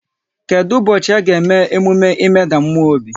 Kedụ ụbọchị a ga-eme emume ịmeda mmụọ obi?